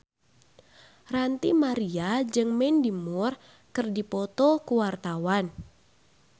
Ranty Maria jeung Mandy Moore keur dipoto ku wartawan